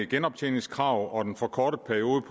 genoptjeningskrav og den forkortede periode